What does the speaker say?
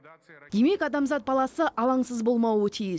демек адамзат баласы алаңсыз болмауы тиіс